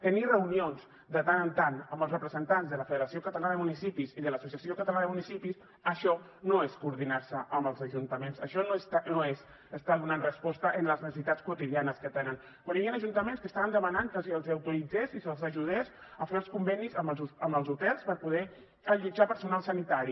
tenir reunions de tant en tant amb els representants de la federació catalana de municipis i de l’associació catalana de municipis això no és coordinar se amb els ajuntaments això no és estar donant resposta a les necessitats quotidianes que tenen quan hi havia ajuntaments que estaven demanant que se’ls autoritzés i se’ls ajudés a fer els convenis amb els hotels per poder allotjar personal sanitari